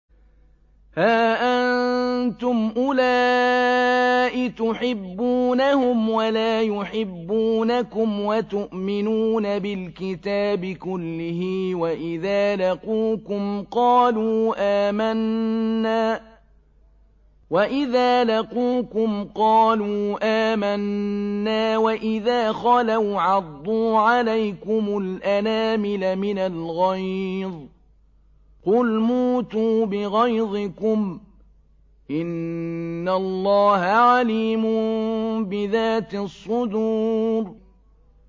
هَا أَنتُمْ أُولَاءِ تُحِبُّونَهُمْ وَلَا يُحِبُّونَكُمْ وَتُؤْمِنُونَ بِالْكِتَابِ كُلِّهِ وَإِذَا لَقُوكُمْ قَالُوا آمَنَّا وَإِذَا خَلَوْا عَضُّوا عَلَيْكُمُ الْأَنَامِلَ مِنَ الْغَيْظِ ۚ قُلْ مُوتُوا بِغَيْظِكُمْ ۗ إِنَّ اللَّهَ عَلِيمٌ بِذَاتِ الصُّدُورِ